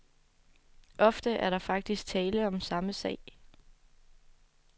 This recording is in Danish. Ofte er der faktisk tale om samme sag.